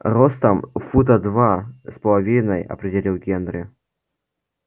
ростом фута два с половиной определил генри